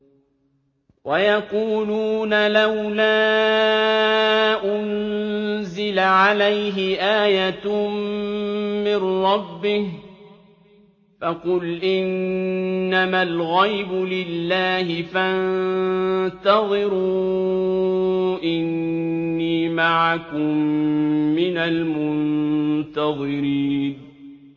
وَيَقُولُونَ لَوْلَا أُنزِلَ عَلَيْهِ آيَةٌ مِّن رَّبِّهِ ۖ فَقُلْ إِنَّمَا الْغَيْبُ لِلَّهِ فَانتَظِرُوا إِنِّي مَعَكُم مِّنَ الْمُنتَظِرِينَ